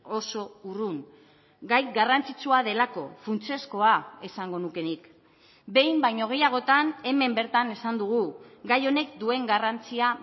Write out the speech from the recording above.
oso urrun gai garrantzitsua delako funtsezkoa esango nuke nik behin baino gehiagotan hemen bertan esan dugu gai honek duen garrantzia